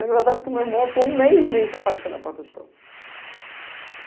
O engraçado é que o meu irmão ficou um mês e mês sem aparecer na porta da escola.